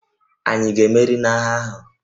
Ànyị ga-emeri n'agha ahụ?